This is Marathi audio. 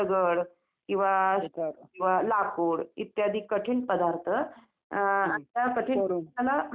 नाही नाहीं कोणाला काय पैसे वगैरे द्यायचे नाहीत काय नाही आपण जे खरीदी करतो त्याच्यासाठी आपल्याला फक्त पैसे लागतात.